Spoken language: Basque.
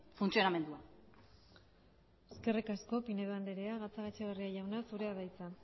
funtzionamendua eskerrik asko pinedo andrea gatzagaetxebarria jauna zurea da hitza